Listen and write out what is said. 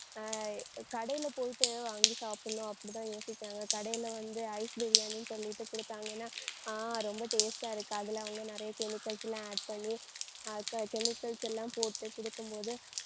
அஹ் கடையில போயிட்டு வாங்கி சாப்பிடணும் அப்படித்தான் யோசிக்கிறாங்க. கடையில வந்து ice biriyani ன்னு சொல்லிட்டு கொடுத்தாங்கன்னா ஆஹ் ரொம்ப taste ஆ இருக்கு. அதுல அவங்க நிறைய chemicals லாம் add பண்ணி அஹ் க~ chemicals எல்லாம் போட்டு குடுக்கும் போது